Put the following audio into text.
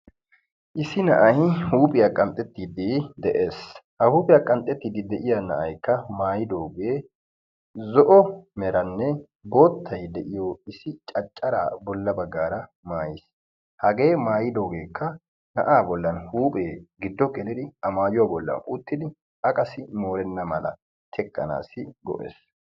Issi na'ay huuphiyaa qanxxetidi de'ees. ha huuphiyaa qanxxide de'iyaa na'aykka maayidooge. zo'o meranne boottay de'iyoo issi cacara bolla baggara maayyiis. hagee mayyidoogekka na'a bolla huuphee giddo gelidi a qassi moorena mala teqqanassi go''ees.